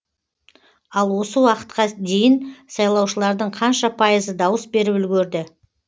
ал осы уақытқа дейін сайлаушылардың қанша пайызы дауыс беріп үлгерді